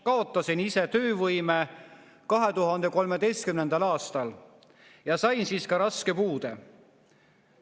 Kaotasin ise töövõime 2013. aastal ja sain siis ka raske puude.